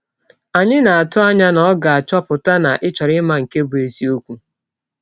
Anyị na - atụ anya na ọ ga - achọpụta na ị chọrọ ịma nke bụ́ eziọkwụ!